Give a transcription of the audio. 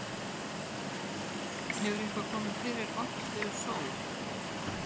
Hefur eitthvað komið fyrir Orkídeu Sól?